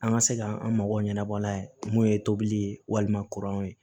An ka se ka an mago ɲɛnabɔla ye mun ye tobili ye walima kuranw ye